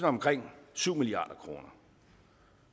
omkring syv milliard kroner